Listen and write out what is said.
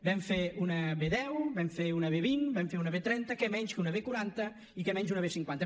vam fer una b deu vam fer una b vint vam fer una b trenta què menys que una b quaranta i què menys una b cinquanta